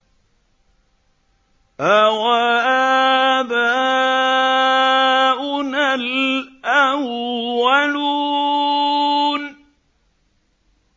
أَوَآبَاؤُنَا الْأَوَّلُونَ